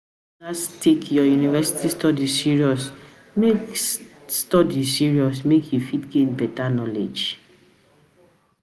You gats take your university study serious make study serious make you fit gain beta knowledge